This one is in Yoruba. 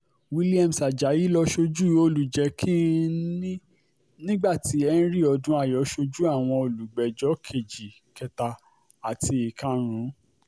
williams ajayi ló ṣojú olùjẹ́ kin-ín-ní nígbà tí henry odnayo ṣojú àwọn olùgbẹ́jọ́ kejì kẹta àti ìkarùn-ún